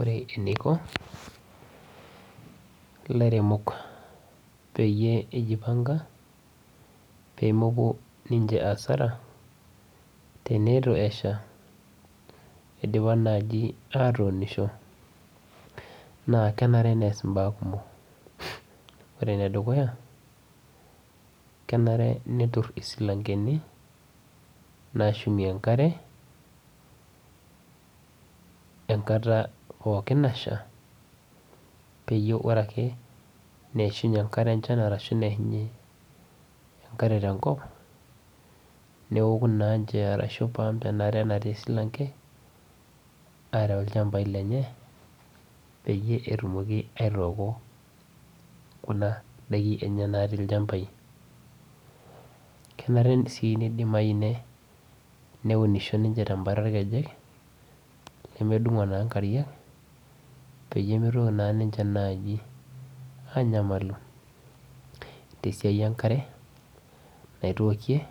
Ore eniko ilaremok peyie ijipanga, pemepuo ninche asara tenitu esha idipa naaji atuunisho, naa kenare nees imbaa kumok. Ore enedukuya, kenare netur isilankeni nashumie enkare enkata pookin nasha, peyie ore ake neishunye enkare enchan arashu neishunye enkare tenkop, neoku naanche arashu i pump enaare natii esilanke, areu ilchambai lenye, peyie etumoki aitooko kuna daiki enye natii ilchambai. Kenare si nidimayu neuninsho ninche tebata irkejek lemedung'o taa nkariak, peyie mitoki naa ninche naji anyamalu tesiai enkare, naitookie